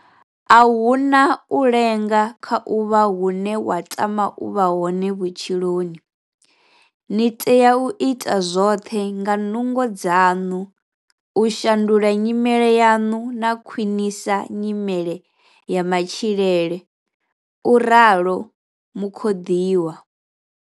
A hu na u lenga kha u vha hune wa tama u vha hone vhutshiloni. Ni tea u ita zwoṱhe nga nungo dzaṋu u shandula nyimele yaṋu na khwinisa nyimele ya matshilele, u ralo Mukhoḓiwa.